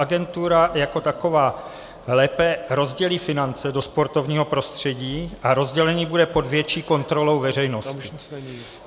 Agentura jako taková lépe rozdělí finance do sportovního prostředí a rozdělení bude pod větší kontrolou veřejnosti.